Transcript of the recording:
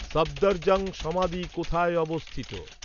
সফদরজং সমাধি কোথায় অবস্থিত?